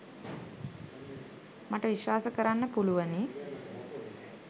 මට විශ්වාස කරන්න පුළුවනි.